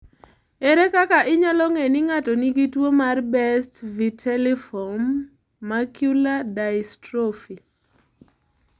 Ere kaka inyalo ng'e ni ng'ato nigi tuo mar Best vitelliform macular dystrophy?